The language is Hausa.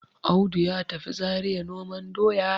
Audu ya tafi Zariya noman doya